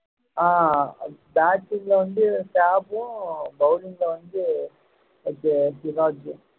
ஆஹ் batting ல வந்து bowling ல வந்து சீராஜூம்